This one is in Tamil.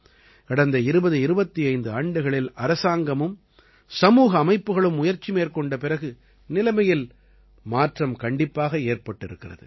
கடந்த 2025 ஆண்டுகளில் அரசாங்கமும் சமூக அமைப்புக்களும் முயற்சி மேற்கொண்ட பிறகு நிலைமையில் மாற்றம் கண்டிப்பாக ஏற்பட்டிருக்கிறது